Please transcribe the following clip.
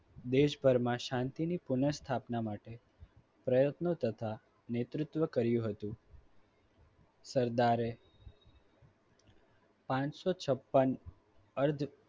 દેશભરમાં શાંતિની પુનઃ સ્થાપના માટે પ્રયત્નો તથા નેતૃત્વ કર્યું હતું. સરદારે પાંચસો છપ્પન અર્ધ